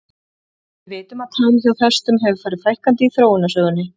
Við vitum að tám hjá hestum hefur farið fækkandi í þróunarsögunni.